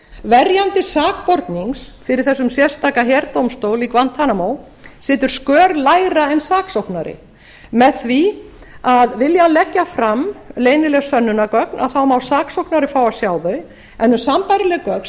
verjandi sakbornings fyrir þessum sérstaka herdómstól í guantanamo situr skör lægra en saksóknari með því að vilji hann leggja fram leynileg sönnunargögn að þá má saksóknari fá að sjá þau en um sambærileg gögn